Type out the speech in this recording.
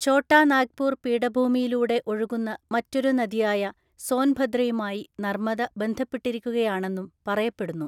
ഛോട്ടാ നാഗ്പൂർ പീഠഭൂമിയിലൂടെ ഒഴുകുന്ന മറ്റൊരു നദിയായ സോൻഭദ്രയുമായി നർമദ ബന്ധപ്പെട്ടിരിക്കുകയാണെന്നും പറയപ്പെടുന്നു.